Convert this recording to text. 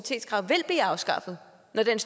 med den